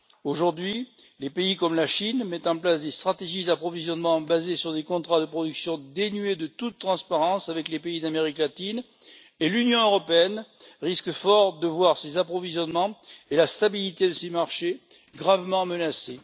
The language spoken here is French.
Aujourd'hui, les pays comme la Chine mettent en place des stratégies d'approvisionnement basées sur des contrats de production dénués de toute transparence avec les pays d'Amérique latine et l'Union européenne risque fort de voir ses approvisionnements et la stabilité de ses marchés gravement menacés.